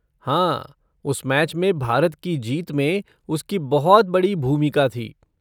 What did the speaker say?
हाँ, उस मैच में भारत की जीत में उसकी बहुत बड़ी भूमिका थी।